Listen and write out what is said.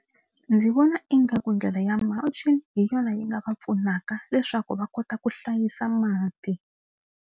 Ndzi vona ingaku ndlela ya mulching hi yona yi nga va pfunaka leswaku va kota ku hlayisa mati.